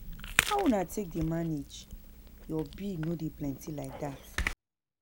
How una take dey manage. Your bill no dey plenty like dat